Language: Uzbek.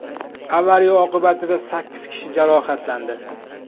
Avariya oqibatida sakkiz kishi jarohatlandi.